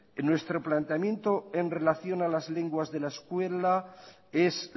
en nuestro planteamiento en relación a las lenguas de la escuela es